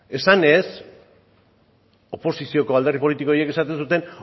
esanez oposizioko alderdi politiko horiek esaten zuten